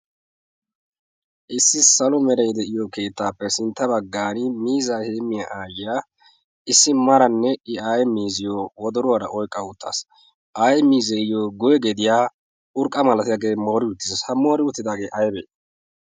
issi salo meree de'iyo keettaappe sintta baggan miiza heemiyaa aayyiyaa issi maranne i aye miiziyyo wodoruwaara oyqqa uttaas ayee miizeeyyo goy gediyaa urqqa malatidaagee moori utiis samoori uttidaagee aybee